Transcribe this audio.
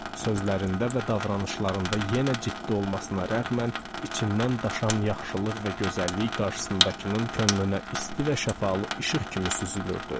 Sözlərində və davranışlarında yenə ciddi olmasına rəğmən içindən daşan yaxşılıq və gözəllik qarşısındakının könlünə isti və şəffaf işıq kimi süzülürdü.